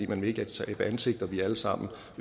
man vil ikke tabe ansigt og vi alle sammen